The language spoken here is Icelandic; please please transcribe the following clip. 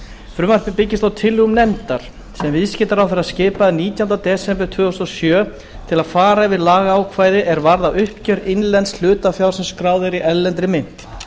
frumvarpið byggist á tillögum nefndar sem viðskiptaráðherra skipaði nítjánda desember tvö þúsund og sjö til að fara yfir lagaákvæði er varða uppgjör innlends hlutafjár sem er skráð í erlendri mynt